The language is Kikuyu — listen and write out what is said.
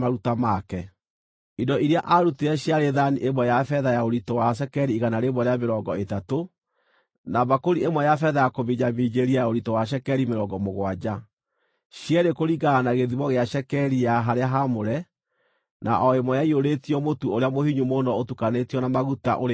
Indo iria aarutire ciarĩ thaani ĩmwe ya betha ya ũritũ wa cekeri igana rĩa mĩrongo ĩtatũ na mbakũri ĩmwe ya betha ya kũminjaminjĩria ya ũritũ wa cekeri mĩrongo mũgwanja, cierĩ kũringana na gĩthimo gĩa cekeri ya harĩa haamũre, na o ĩmwe ĩiyũrĩtio mũtu ũrĩa mũhinyu mũno ũtukanĩtio na maguta, ũrĩ iruta rĩa mũtu;